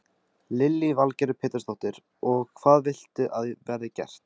Lillý Valgerður Pétursdóttir: Og hvað viltu að verði gert?